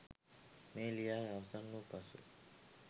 මෙය ලියා අවසන් වූ පසු